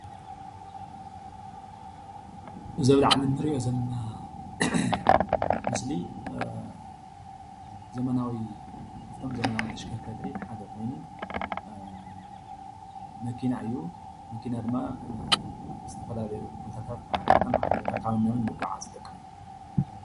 እዚ ኣብ ላዕሊ እንሪኦ ዘለና ምስሊ ዘመናዊ ካብቶም ዘመናዊ ተሽከርከርቲ ሓደ ኮይኑ፡፡ መኪና እዩ። መኪና ድማ ዝተፈላለዩ ቦታታት ካብ ሓደ ቦታ ናብ ካልእ ቦታ ካብ ናብን ንዝጉዓዝ ዝተጠቅመና እዩ፡፡